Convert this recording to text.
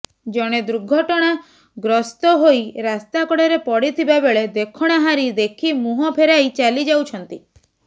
ଜଣେ ଦୃଘଟଣା ଗ୍ରସ୍ତ ହୋଇ ରାସ୍ତା କଡରେ ପଡିଥିବା ବେଳେ ଦେଖଣାହାରି ଦେଖି ମୁହଁ ଫେରାଇ ଚାଲିଯାଉଛନ୍ତି